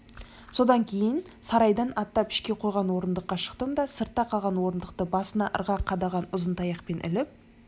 содан кейін сарайдан аттап ішке қойған орындыққа шықтым да сыртта қалған орындықты басына ырғақ қадаған ұзын таяқпен іліп